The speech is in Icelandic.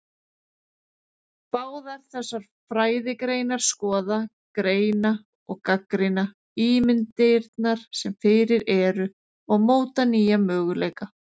Báðar þessar fræðigreinar skoða, greina og gagnrýna ímyndirnar sem fyrir eru og móta nýja möguleika.